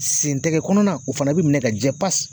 Sentɛgɛ kɔnɔna, o fana bɛ minɛ ka jɛ pas